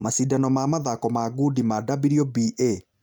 Macindano ma mathako ma gudi ma WBA